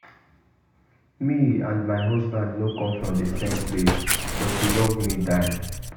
Me and my husband no come from the same place but he love me die